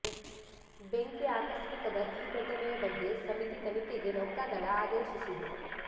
ಬೆಂಕಿ ಆಕಸ್ಮಿಕದ ಈ ಘಟನೆಯ ಬಗ್ಗೆ ಸಮಿತಿ ತನಿಖೆಗೆ ನೌಕಾದಳ ಆದೇಶಿಸಿದೆ